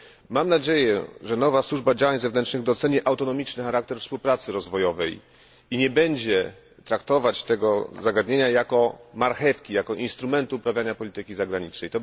Mam nadzieję, że nowa Służba Działań Zewnętrznych doceni autonomiczny charakter współpracy rozwojowej i nie będzie traktować tego zagadnienia jako marchewki, jako instrumentu uprawiania polityki zagranicznej.